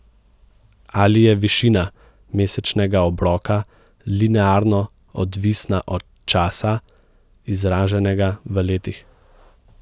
Ali je višina mesečnega obroka linearno odvisna od časa, izraženega v letih?